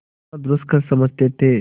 जितना दुष्कर समझते थे